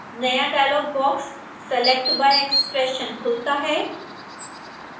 नया dialog box select by expression खुलता है